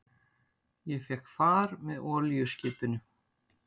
Ég fékk far með olíuskipinu